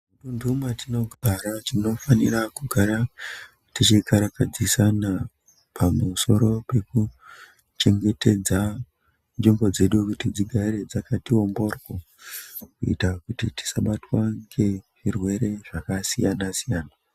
Mudundu mwatinogara tinofanira kugara tichikarakadzisna pamusoro pekuchengetedza nzvimbo dzedu kuti dzigare dzakati womboro kuita kuti tisabatwa ngezvirwere zvakasiyana siyana.